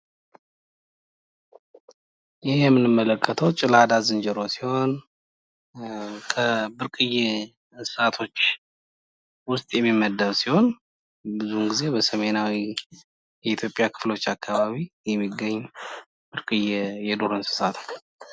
ይህ የምንመለከተው ጭላዳ ዝንጀሮ ሲሆን ከብርቅዬ እንሥሣቶች ውስጥ የሚመደብ ሲሆን ብዙውን ጊዜ በሰሜናዊ የ ኢትዮጲያ ክፍሎች አካባቢ የሚገኝ ብርቅዬ የዱር እንስሳ ነው፡፡